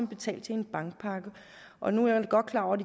betalt til en bankpakke og nu er jeg godt klar over at